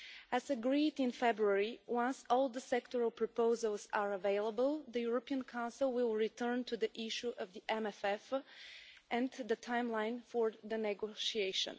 As agreed in February, once all the sectoral proposals are available, the European Council will return to the issue of the MFF and the timeline for the negotiation.